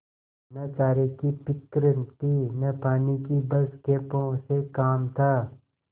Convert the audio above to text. न चारे की फिक्र थी न पानी की बस खेपों से काम था